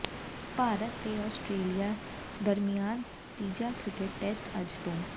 ਭਾਰਤ ਤੇ ਆਸਟਰੇਲੀਆ ਦਰਮਿਆਨ ਤੀਜਾ ਕ੍ਰਿਕਟ ਟੈਸਟ ਅੱਜ ਤੋਂ